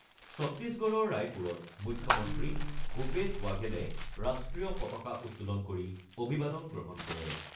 চত্তিশগড়ৰ ৰায়পুৰত মুখ্যমন্ত্ৰী ভূপেশ ৱাঘেলে ৰাষ্ট্ৰীয় পতাকা উত্তোলন কৰি অভিবাদন গ্ৰহণ কৰে।